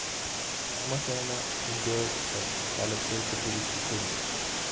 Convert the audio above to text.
വ്യോമസേന ഉദ്യോഗസ്ഥര്‍ സ്ഥലത്തേക്ക് തിരിച്ചിട്ടുണ്ട്